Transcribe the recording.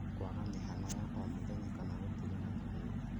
Kwaga mĩhango ya o mũthenya kana gũtigana na wĩra